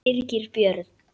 Birgir Björn